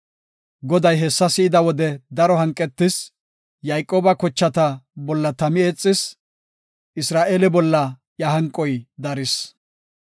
Goday hessa si7ida wode daro hanqetis; Yayqooba kochata bolla tami eexis; Isra7eele bolla iya hanqoy daris.